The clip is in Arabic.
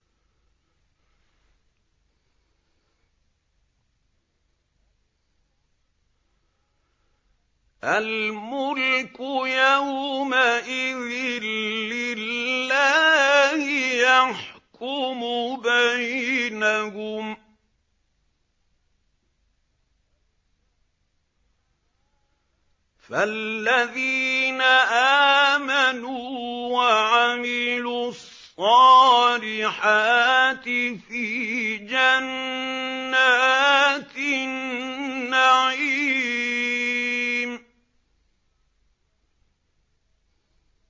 الْمُلْكُ يَوْمَئِذٍ لِّلَّهِ يَحْكُمُ بَيْنَهُمْ ۚ فَالَّذِينَ آمَنُوا وَعَمِلُوا الصَّالِحَاتِ فِي جَنَّاتِ النَّعِيمِ